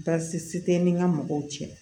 Baasi tɛ n'i ka mɔgɔw cɛ